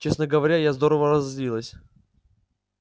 честно говоря я здорово разозлилась